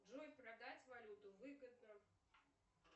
джой продать валюту выгодно